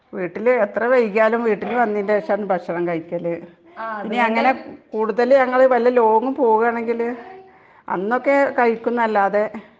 എത്ര വൈകിയാലും വീട്ടിൽ വന്നതിനു ശേഷമാണു ഭക്ഷണം കഴിക്കല് .കൂടുതൽ ഞങ്ങള് വലിയ ലോങ്‌ പോകുവാണെങ്കിൽ അന്നൊക്കെ കഴിക്കും എന്നല്ലാതെ .